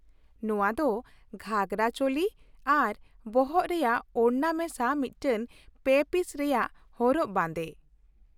ᱱᱚᱶᱟ ᱫᱚ ᱜᱷᱟᱜᱨᱟ, ᱪᱳᱞᱤ ᱟᱨ ᱵᱚᱦᱚᱜ ᱨᱮᱭᱟᱜ ᱳᱲᱱᱟ ᱢᱮᱥᱟ ᱢᱤᱫᱴᱟᱝ ᱯᱮ ᱯᱤᱥ ᱨᱮᱭᱟᱜ ᱦᱚᱨᱚᱜ ᱵᱟᱸᱫᱮ ᱾